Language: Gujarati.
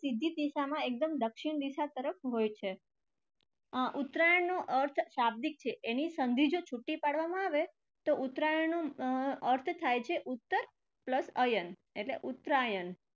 સીધી દિશામાં એકદમ દક્ષિણ દિશા તરફ હોય છે. અર ઉત્તરાયણ નો અર્થ શાબ્દિક છે એની સંધી જો છૂટી પાડવામાં આવે તો ઉત્તરાયણ નો અર અર્થ થાય છે ઉત્તર plus અયન એટલે ઉત્તરાયણ.